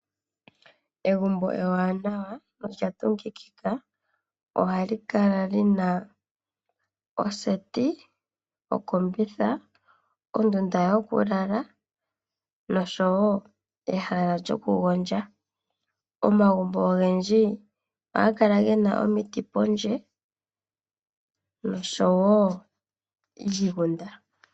Egumbo ewanawa olya tungukidha ohali kala lina oseti, okombitha, ondunda dhokulala nosho woo ehala lyokugondja. Omagumbo ogendji ohaga kala gena omiti pondje nosho woo oshigunda.